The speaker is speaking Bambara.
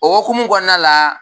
O hokumu kɔnɔna la